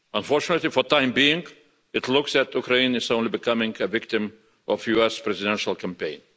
Unfortunately, for the time being, it looks like Ukraine is only becoming a victim of the US presidential campaign.